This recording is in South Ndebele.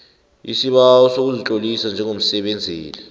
isibawo sokuzitlolisa njengomsebenzeli